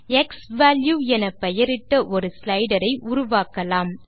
x value எனப்பெயரிட்ட ஒரு ஸ்லைடரை உருவாக்கலாம்